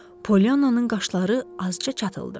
Poliannanın qaşları azca çatıldı.